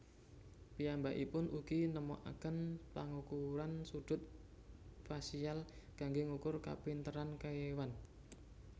Piyambakipun ugi nemokaken pangukuran sudut fasial kanggé ngukur kapinteran kéwan